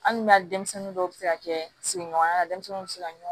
Hali n'a denmisɛnnin dɔw bɛ se ka kɛ sigiɲɔgɔnya la denmisɛnninw bɛ se ka ɲɔn